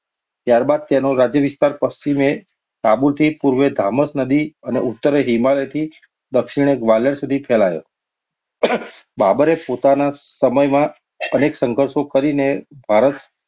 ત્યાર બાદ તેનો રાજ્યવિસ્તાર પશ્ચિમે કાબુલથી પૂર્વે ધામસ નદી અને હિમાલયથી દક્ષિણે ગ્વાલિયર સુધી ફેલાયો. બાબરે પોતાના સમયમાં અનેક સંધર્ષો કરીને ભારત